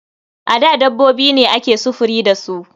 A da dabbobi ne ake sufuri da su.